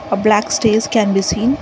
a black stairs can be seen.